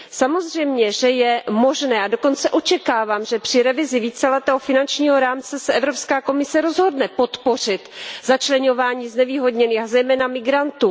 Samozřejmě, že je možné a dokonce očekávám že při revizi víceletého finančního rámce se Evropská komise rozhodne podpořit začleňování znevýhodněných, a zejména migrantů.